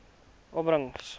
opbrengs